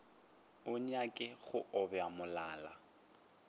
a nyake go obja molala